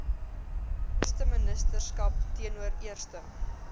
eersteministerskap teenoor eerste